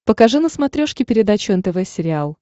покажи на смотрешке передачу нтв сериал